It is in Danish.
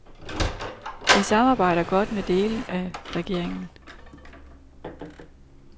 De samarbejder godt med dele af regeringen.